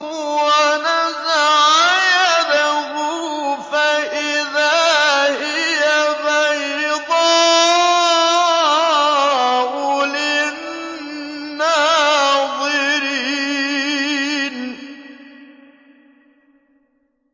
وَنَزَعَ يَدَهُ فَإِذَا هِيَ بَيْضَاءُ لِلنَّاظِرِينَ